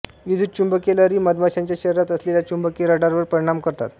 विद्युतचुंबकीय लहरी मधमाश्यांच्या शरीरात असलेल्या चुंबकीय रडारवर परिणाम करतात